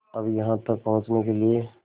अब यहाँ तक पहुँचने के लिए